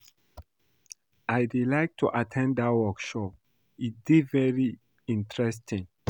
I dey like at ten d dat workshop, e dey very interesting